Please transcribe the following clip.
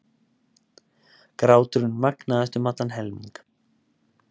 Gráturinn magnaðist um allan helming.